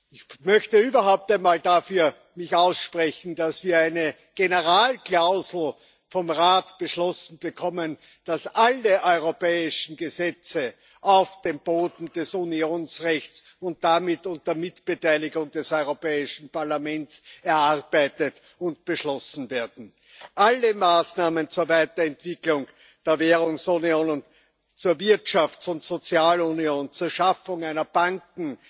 Ich möchte mich überhaupt einmal dafür aussprechen, dass wir eine Generalklausel vom Rat beschlossen bekommen, dass alle europäischen Gesetze auf dem Boden des Unionsrechts und damit unter Mitbeteiligung des Europäischen Parlaments erarbeitet und beschlossen werden. Alle Maßnahmen zur Weiterentwicklung der Währungsunion und zur Wirtschafts und Sozialunion, zur Schaffung einer Banken